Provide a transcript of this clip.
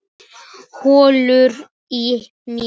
Hrollur í mér.